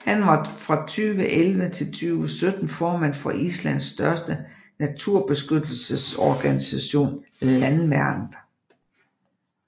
Han var fra 2011 til 2017 formand for Islands største naturbeskyttelsesorganisation Landvernd